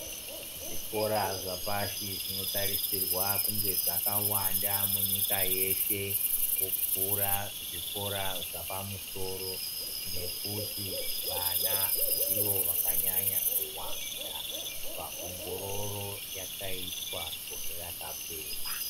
Zvikora zvapashi zvinotarisirwa kunge zvakawanda munyika yeshe kupfuura zvikora zvapamusoro nekuti vana ndivo vakanyanya kuwanda munyika pawongororo yakaitwa gore rakapera.